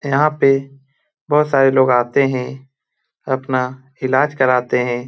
यहाँ पे बहुत सारे लोग आते हैं अपना इलाज कराते हैं।